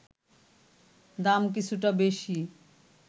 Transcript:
দাম কিছুটা বেশি